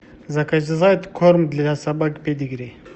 заказать корм для собак педигри